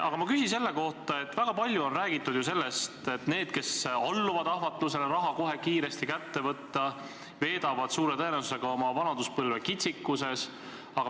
Aga ma küsin selle kohta, et väga palju on räägitud ju sellest, et need, kes alluvad ahvatlusele raha kohe kiiresti kätte saada, veedavad suure tõenäosusega oma vanaduspõlve kitsikuses.